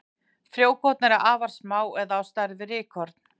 Frjókorn eru afar smá eða á stærð við rykkorn.